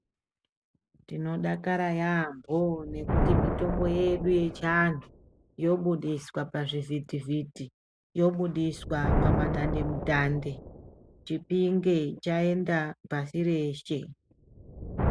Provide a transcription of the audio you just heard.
Tinodakara yambo nekuti mitombo yedu yechiantu yobudiswa zvivhiti vhiti yobudiswa pamadande mutande Chipinge chaenda pashi reshe.